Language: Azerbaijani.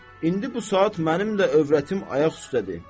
İndi bu saat mənim də övrətim ayaq üstədir.